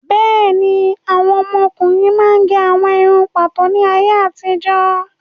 Bẹ́ẹ̀ni, àwọn ọkùnrin máa ń gẹ àwọn irun pàtó ní ayé àtijó